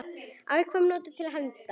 Afkvæmi notuð til hefnda.